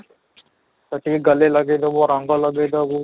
ସେଠି ଲଗେଇ ଦବୁ ରଙ୍ଗ ଲଗେଇ ଦବୁ